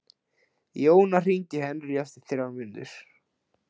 Jóna, hringdu í Henrý eftir þrjár mínútur.